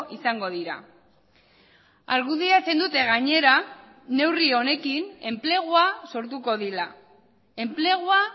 izango dira argudiatzen dute gainera neurri honekin enplegua sortuko dira enplegua